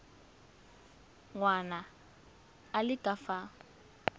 ngwana a le ka fa